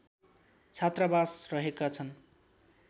छात्रावास रहेका छन्